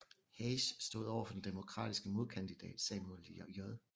Hayes stod over for den demokratiske modkandidat Samuel J